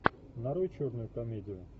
нарой черную комедию